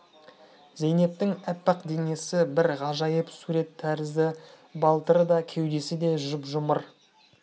зейнептің аппақ денесі бір ғажайып сурет тәрізді балтыры да кеудесі де жұп-жұмыр